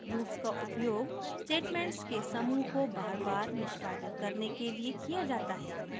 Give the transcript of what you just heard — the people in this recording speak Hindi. loops का उपयोग statements के समूह को बार बार निष्पादित करने के लिए किया जाता है